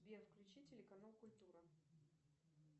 сбер включи телеканал культура